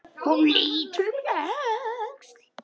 Hún lítur um öxl.